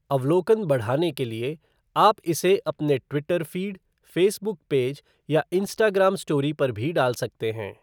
अवलोकन बढ़ाने के लिए आप इसे अपने ट्विटर फ़ीड, फ़ेसबुक पेज या इंस्टाग्राम स्टोरी पर भी डाल सकते हैं।